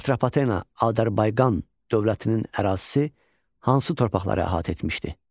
Atropatena Azərbaycan dövlətinin ərazisi hansı torpaqları əhatə etmişdi?